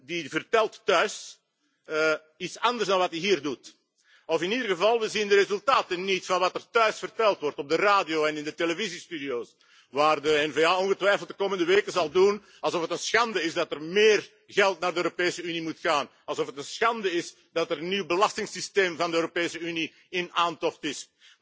Die vertelt thuis iets anders dan wat hij hier doet, of in ieder geval zien we de resultaten niet van wat er thuis verteld wordt op de radio en in de televisiestudio's waar de N VA ongetwijfeld de komende weken zal doen alsof het een schande is dat er meer geld naar de Europese Unie moet gaan, alsof het een schande is dat er een nieuw belastingsysteem van de Europese Unie in aantocht